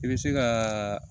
I bɛ se ka